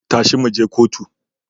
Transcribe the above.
Tashi mu je kotu